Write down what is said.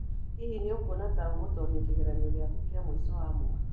Hihi nĩ ũkuona ta ũgũtooria kĩgeranio gĩaku kĩa mũico wa mwaka?